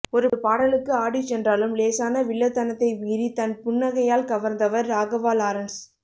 ஒரு பாடலுக்கு ஆடிச் சென்றாலும் லேசான வில்லத்தனத்தை மீறித் தன் புன்னகையால் கவர்ந்தவர் ராகவா லாரன்ஸ்